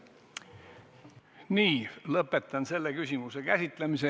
Lõpetan selle küsimuse käsitlemise.